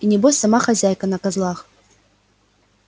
и небось сама хозяйка на козлах